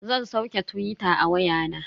Zan sauke tuwita a waya na.